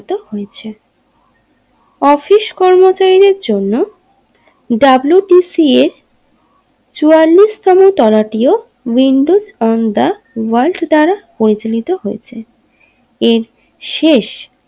Office কর্মচারীদের জন্য W T C এ চুয়াল্লিশ তম তলাটিও উইন্ডোজ অফ দা ওয়ালজ দ্বারা পরিচালিত হয়েছে এর শেষ।